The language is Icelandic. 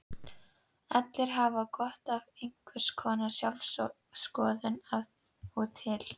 Allir hafa gott af einhvers konar sjálfsskoðun af og til.